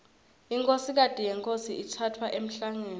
inkhosikati yenkhosi itsatfwa emhlangeni